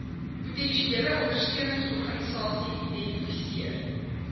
potensiële ondersteuningsorganisasie identifiseer